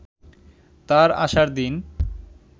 তার আসার দিন